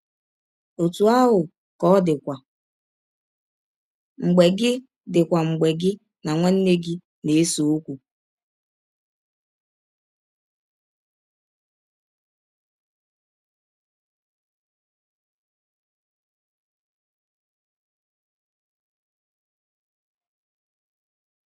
Ọtụ ahụ ka ọ dịkwa mgbe gị dịkwa mgbe gị na nwanne gị na - ese ọkwụ.